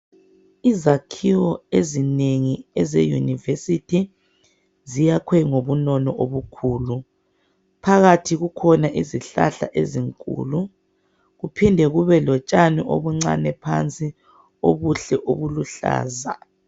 Izakhiwo ezinengi ezeYunivesithi, ziyakhwe ngobunono obukhulu. Phakathi kukhona izihlahla ezinkulu, kuphinde kube lotshani obuncane phansi, obuhle obuluhlaza.